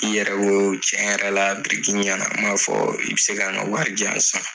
I yɛrɛ ko tiɲɛ yɛrɛ la biriki ɲɛ na , i bɛ se ka na ka wari di yan san.